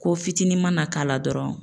Ko fitinin ma na k'a la dɔrɔn